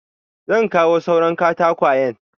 Zan kawo suran katakwayen.